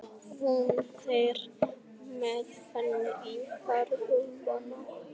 Hún þreif með henni í hárlubbann á Fúsa.